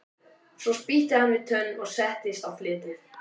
Svo spýtti hann við tönn og settist á fletið.